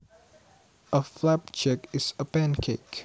A flapjack is a pancake